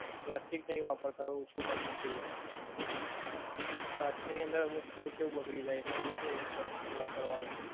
Plastic નહિ વાપરતા, ઓછું કરી નાખ્યું છે હવે. પ્લાસ્ટિક ની અંદર અમુક food કેવુ બગડી જાય એટલે એ લોકો એ ઓછું કરી નાખ્યું વાપરવાનું.